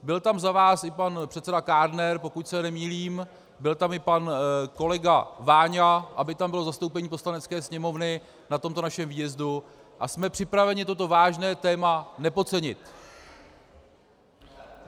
Byl tam za vás i pan předseda Kádner, pokud se nemýlím, byl tam i pan kolega Váňa, aby tam bylo zastoupení Poslanecké sněmovny na tomto našem výjezdu, a jsme připraveni toto vážné téma nepodcenit.